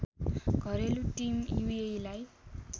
घरेलु टिम युएइलाई